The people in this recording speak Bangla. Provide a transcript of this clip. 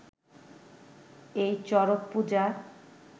এই চড়কপূজা